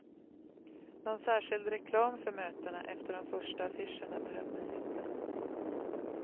Någon särskild reklam för mötena, efter de första affischerna behövdes inte.